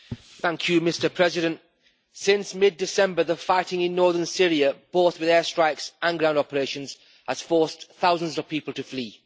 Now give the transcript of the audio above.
Mr President, since mid-December, the fighting in northern Syria both with airstrikes and ground operations has forced thousands of people to flee.